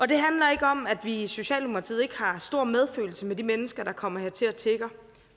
det handler ikke om at vi i socialdemokratiet ikke har stor medfølelse med de mennesker der kommer hertil og tigger